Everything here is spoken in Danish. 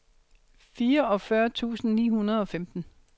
fireogfyrre tusind ni hundrede og femten